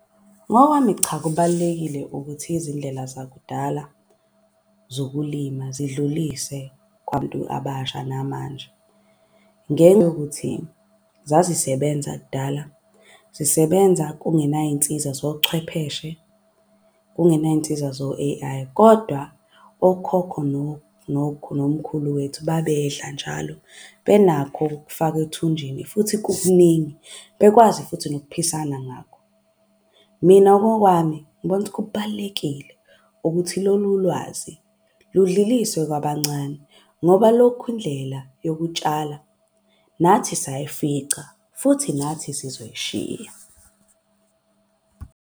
Ngokwami cha, kubalulekile ukuthi izindlela zakudala zokulima zidlulise abasha namanje. Ngenxa yokuthi zazisebenza kudala zisebenza kungenay'nsiza zochwepheshe, kungenay'nsiza zo-A_I. Kodwa okhokho nomkhulu wethu babedla njalo, benakho kokufaka ethunjini futhi kukuningi bekwazi futhi nokuphisana ngakho. Mina ngokwami ngibona ukuthi kubalulekile ukuthi lolu lwazi ludluliswe kwabancane. Ngoba lokhu indlela yokutshala nathi sayifica futhi nathi sizoyishiya.